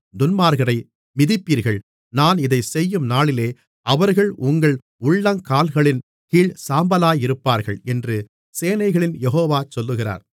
துன்மார்க்கரை மிதிப்பீர்கள் நான் இதைச் செய்யும்நாளிலே அவர்கள் உங்கள் உள்ளங்கால்களின் கீழ் சாம்பலாயிருப்பார்கள் என்று சேனைகளின் யெகோவா சொல்லுகிறார்